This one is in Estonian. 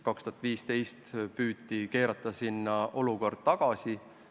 2015 püüti olukorda pigem sinna tagasi keerata.